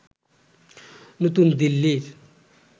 নতুন দিল্লির